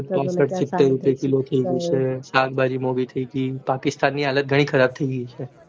સીતેર રૂપિયે kilo થય ગયું છે સાગ ભાજી મોંઘી થય પાકિસ્તાન કરતા હાલત ખરાબ થય ગય વહે